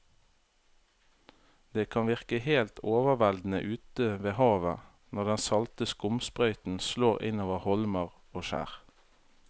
Det kan virke helt overveldende ute ved havet når den salte skumsprøyten slår innover holmer og skjær.